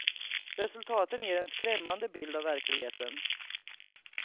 Resultaten ger en skrämmande bild av verkligheten.